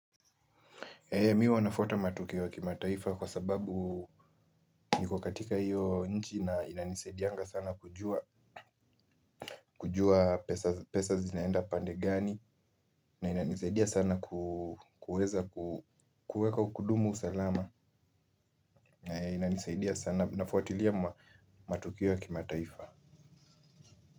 Mi huwa nafuata matukio ya kimataifa kwa sababu niko katika hiyo nchi na inanisaidianga sana kujua kujua pesa zinaenda pande gani na inanisaidia sana kuweza kudumu salama na inanisaidia sana nafutilia matukio ya kima taifa.